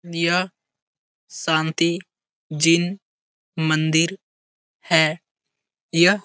यह शांति जीन मंदिर है। यह --